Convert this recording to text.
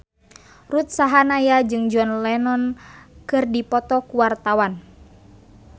Ruth Sahanaya jeung John Lennon keur dipoto ku wartawan